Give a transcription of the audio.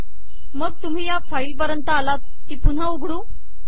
मग तुम्ही या फाईल पर्यंत आलात की पुन्हा उघडू